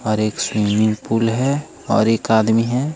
और एक swimming pool है और एक आदमी है।